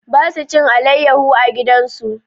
Ba su cin alayyaho a gidan su.